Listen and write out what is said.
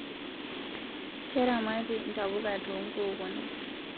Keramatii ntapuka too nkukunik